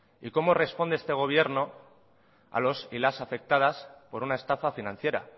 y cómo responde este gobierno a los y las afectadas por una estafa financiera